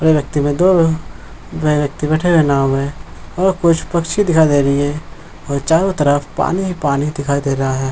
दो लोग यह व्यक्ति बैठे हुए नाव हैं और कुछ पक्षी दिखाई दे रही हैं और चारों तरफ पानी ही पानी दिखाई दे रहा हैं।